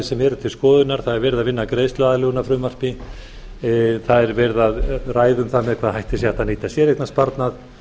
sem eru til skoðunar það er verið að vinna að greiðsluaðlögunarfrumvarpi það er verið að ræða um það með hvaða hætti sé hægt að nýta séreignarsparnað